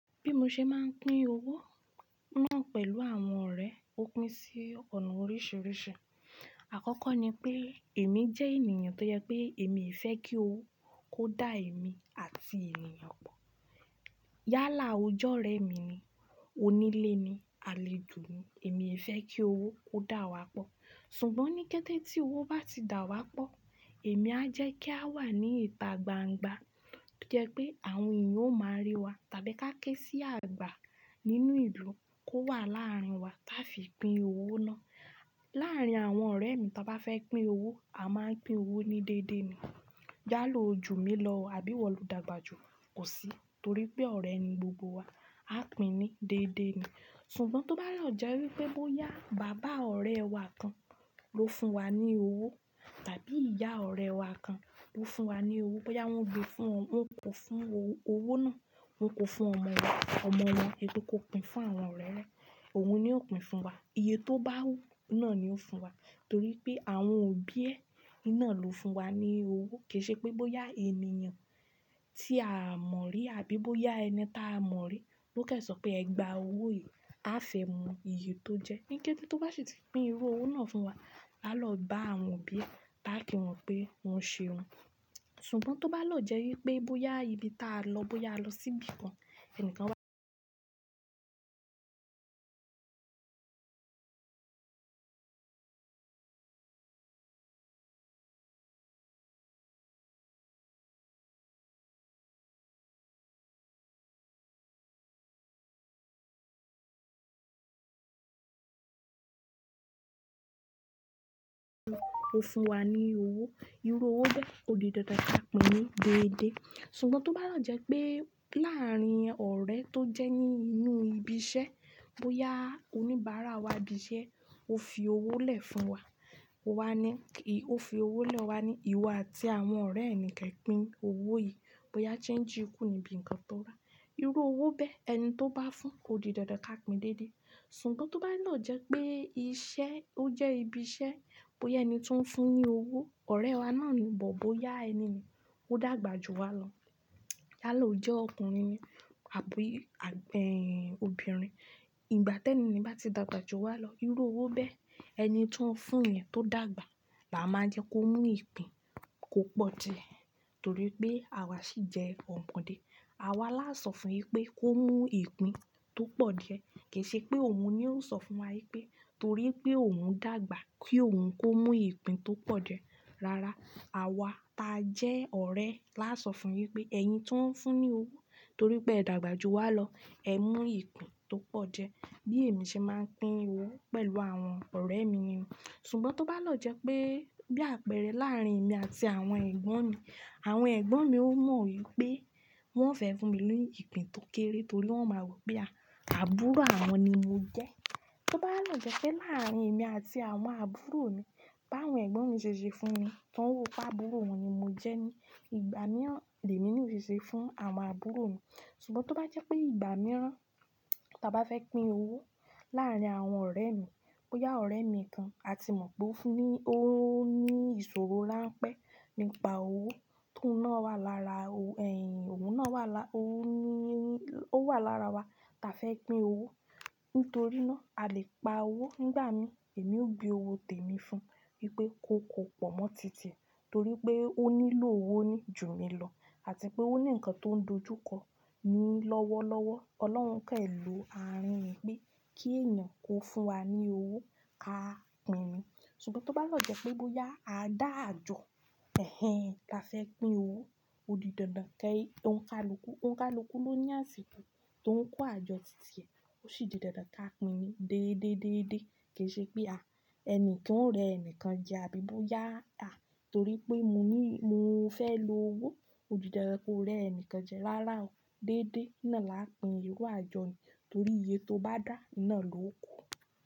Bí mo ṣe máa ń pín owó náà pẹ̀lú àwọn ọ̀rẹ́, ó pín sí ọ̀nà oríṣiríṣi. Àkọ́kọ́ ni pé èmi jẹ́ ènìyàn tó jẹ pé èmi fẹ́ kí owó kó dá èmi àti ènìyàn pọ̀. Yálà, ọje ọ̀rẹ́ mi ni, onílé ni, alèjò ni, èmi i fẹ́ kí owó kó dà wá pọ̀. Ṣùgbọ́n ní kẹ́tẹ́ tí owó bá ti dà wá pọ̀, èmi á jẹ́ kí a wà ní ìta gbangba tó jẹ́ pé àwọn èyàn ó máa rí wa tàbí ká ké sí àgbà nínú ìlú kó wà láàárín wa táa fi pín owó náà. Láàárín àwọn ọ̀rẹ́ mi ta bá fẹ́ pín owó, a máa ń pín owó ní déédéé ni. Yála, o jù mí lọ, àbí wọ̀lú dàgbà jù, kò sí, torí pé ọ̀rẹ́ ni gbogbo wa, a pín ní déédéé ni. Ṣùgbọ́n tó bá lọ jẹ́ wípé bóyá bàbá ọ̀rẹ́ wa kan ló fún wa ní owó tàbí ìyá ọ̀rẹ́ wa kan ló fún wa ní owó, bóyá wọ́n kò fún owó náà, wọn kò fún ọmọ wọn, èyí tó kó pín fún àwọn ọ̀rẹ́ rẹ̀, òun ni ó pín fún wa. Iye tó bá wù náà ni ó fún wa, torí pé àwọn òbí ẹ náà ló fún wa ní owó. Kií ṣe pé bóyá ènìyàn tí a mọ rí àbí bóyá ẹni ta mọ rí ló kẹ́ṣọ̀ọ́ pé "Ẹ gba owó yìí, àfẹ́ mu." Iye tó jẹ́, ní kẹ́tẹ́ tó bá ṣe ti pín irú owó náà fún wa, a lọ bá àwọn òbí ẹ, bá kí wọn pé wọ́n ṣe un. Ṣùgbọ́n tó bá lọ jẹ́ wípé bóyá ibi táa lọ, bóyá lọ sí ibi kan, ẹni kan wá ó fún wa ní owó, irú owó bẹ́ẹ̀ ó di dandan ká pín ní déédéé. Ṣùgbọ́n tó bá lọ jẹ́ pé láàárín ọ̀rẹ́ tó jẹ́ ní inú ibi iṣẹ́, bóyá oníbàárà wa ibi iṣẹ́ ó fi owó lẹ̀ fún wa, ó fi owó lẹ̀ ọ wá ní ìwọ àti àwọn ọ̀rẹ́ ẹnì kẹ́ pín owó yìí, bóyá change kù níbi nǹkan tó ra. Irú owó bẹ́ẹ̀, ẹni tó bá fún ó di dandan ká pín déédéé. Ṣùgbọ́n tó bá lọ jẹ́ pé iṣẹ́, ó jẹ́ ibi iṣẹ́, bóyá ẹni tí ó ń fún ní owó, ọ̀rẹ́ wa náà ni, but bóyá ẹniyen, ó dàgbà jù wa lọ. Yálà, ó jẹ́ ọkùnrin ni àbí ọbìnrin. Ìgbà tẹ́ẹ́ni nìyẹn bá ti dàgbà jù wa lọ, irú owó bẹ́ẹ̀ ẹni tí ó ń fún yẹ̀n tó dàgbà, làá máa jẹ́ kó mú ìpín kò pọ̀ díẹ̀ torí pé àwa ṣì jẹ́ ọmọdé. Àwa laa sọ fún un pé kó mú ìpín tó pọ̀ díẹ̀. Kìí ṣe pé òun ni ó ń sọ fún wa pé torí pé òun dàgbà kí òun kó mú ìpín tó pọ̀ díẹ̀. Rárá, àwa ta jẹ́ ọ̀rẹ́ la sọ fún un wípé "Ẹ̀yin tí ó ń fún ní owó torí pé ẹ dàgbà jù wa lọ, ẹ mú ìpín tó pọ̀ díẹ̀." Bí èmi ṣe máa ń pín owó pẹ̀lú àwọn ọ̀rẹ́ mi ni. Ṣùgbọ́n tó bá lọ jẹ́ pé bí àpẹẹrẹ láàárín èmi àti àwọn ẹ̀gbọ́n mi, àwọn ẹ̀gbọ́n mi ó mọ wípé wọ́n fẹ́ fún mi ní ìpín tó kéré torí wọ́n máa rò pé àbúrò àwọn ni mọ jẹ́. Tó bá lọ jẹ́ pé láàárín èmi àti àwọn àbúrò mi, bàwọn ẹ̀gbọ́n mi ṣe ṣe fún mi, táwọn pa àbúrò wọn ni mo jẹ́ ni, ìgbà náà lèmi ni ò ṣe ṣe fún àwọn àbúrò mi. Ṣùgbọ́n tó bá jẹ́ pé ìgbà mìíràn táa bá fẹ́ pín owó láàárín àwọn ọ̀rẹ́ mi, bóyá ọ̀rẹ́ mi kan a ti mọ̀ pé ó fún ní owó ní ìṣòro ránpẹ́, nípa owó tóun náà wà lára ẹ̀, òun wà lára wa táa fẹ́ pín owó. Nítorí náà, a lè pa owó nígbà mìí èmi ó gbé owó tèmi fún un wípé kó pọ̀ mọ́ tí tíẹ torí pé ó nílò owó ní jù mí lọ àti pé ó ni ǹkan tó ń dojúkọ ni lọ́wọ́lọ́wọ́. Ọlọ́run kẹ̀ ló àárín yẹn pé kí èyàn kó fún wa ní owó ká pín in. Ṣùgbọ́n tó bá lọ jẹ́ pé bóyá a dà àjọ ẹ̀hẹ̀n táa fẹ́ pín owó, ó di dandan kí ó ń kalukú ló ní àsìkò tó ń kó àjọ tìtì ẹ, ó ṣì di dandan ká pín ní déédéé déédéé. Kìí ṣe pé à, ẹnìkan ò rẹ ẹnìkan jẹ́ àbí bóyá a, torí pé mọ ní mọ fẹ́ lowó, ó di dandan kó rẹ ẹnìkan jẹ. Rárá o, déédéé náà la ń pín irú àjọ ni torí iye tó bá dà náà ló kó.